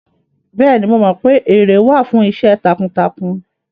Bẹ́ẹ̀ni, mo mọ pé ère wà fún iṣẹ́ takuntakun